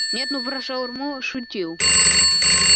нет ну про шаурму шутил